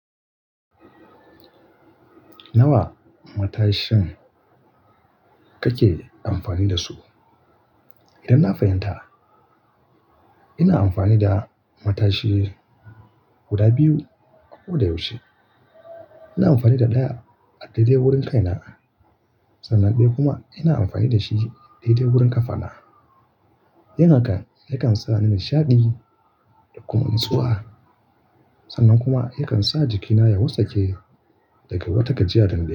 Nawa matashin kake amfani da su? Idan na fahimta ina amfani da matashi guda biyu a ko da yaushe. Ina amfani da ɗaya a daidai wurin kai na, sannan ɗaya kuma ina amfani da shi a daidai wurin kafana. Yin hakan yakan sa ni nishaɗi da kuma natsuwa, sannan kuma yakan sa jikina ya wartsake daga wata gajiya da na yi.